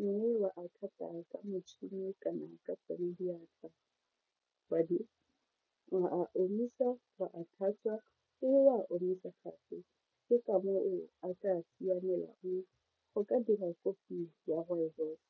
mme wa a ka motšhini kana ka tsone diatla wa a omisa, wa a tlhatswa omisa gape ke ka moo a tsa siamela go ka dira kopi ya rooibos.